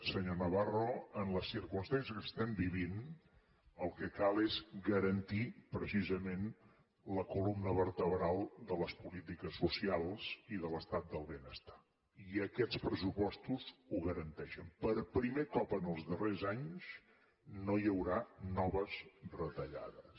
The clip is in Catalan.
senyor navarro en les circumstàncies que estem vivint el que cal és garantir precisament la columna vertebral de les polítiques socials i de l’estat del benestar i aquests pressupostos ho garanteixen per primer cop en els darrers anys no hi haurà noves retallades